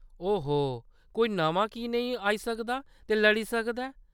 ओहो, कोई नमां की नेईं आई सकदा ते लड़ी सकदा ऐ ?